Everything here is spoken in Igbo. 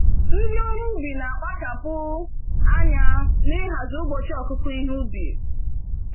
Ndị ọrụ ubi na akpachapụ anya n'ihazi ụbọchị ọkụkụ ihe ubi.